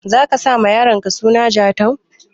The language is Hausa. Zaka sa ma yaronka suna Jatau?